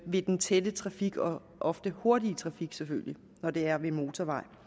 ved den tætte trafik og ofte hurtige trafik når det er ved motorvejen